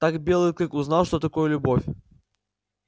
так белый клык узнал что такое любовь